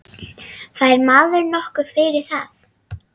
Fær maður nokkuð fyrir það?